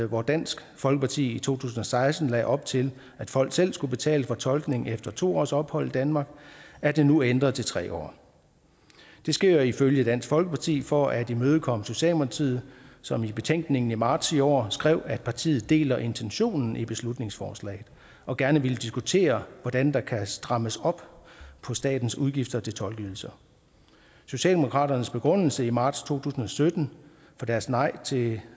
hvor dansk folkeparti i to tusind og seksten lagde op til at folk selv skulle betale for tolkning efter to års ophold i danmark er det nu ændret til tre år det sker ifølge dansk folkeparti for at imødekomme socialdemokratiet som i betænkningen i marts i år skrev at partiet deler intentionen i beslutningsforslaget og gerne ville diskutere hvordan der kan strammes op på statens udgifter til tolkeydelser socialdemokratiets begrundelse i marts to tusind og sytten for deres nej til